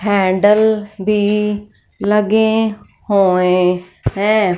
Handle भी लगे हुए हैं।